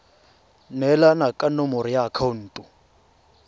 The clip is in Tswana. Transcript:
neelana ka nomoro ya akhaonto